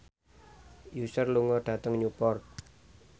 Usher lunga dhateng Newport